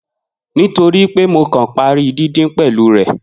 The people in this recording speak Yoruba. Nitoripe Mo kan pari didin pẹlu rẹ.